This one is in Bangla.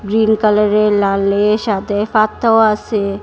গ্রিন কালারের লালের সাথে পাতাও আসে।